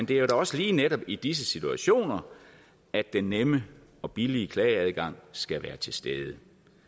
det er jo også netop i disse situationer at den nemme og billige klageadgang skal være til stede